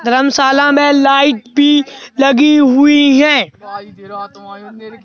धर्मशाला में लाइट भी लगी हुई हैं।